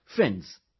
Friends,